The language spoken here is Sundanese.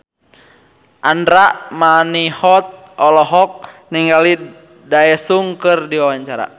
Andra Manihot olohok ningali Daesung keur diwawancara